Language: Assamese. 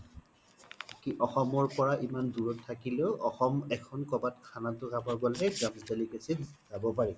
কি অসমৰ পৰা ইমান দুৰত থাকিলেও অসমৰ এখন কবাত খানা তো খাব গ্'লেই delicacy ত যব পৰি